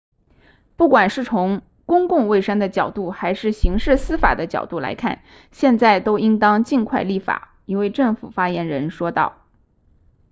不管是从公共卫生的角度还是刑事司法的角度来看现在都应当尽快立法一位政府发言人说道